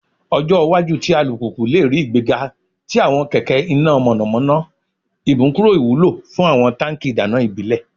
Ọjọ iwaju ti alupupu le rii igbega ti awọn kẹkẹ ina mọnamọna, imukuro iwulo fun awọn tanki idana ibile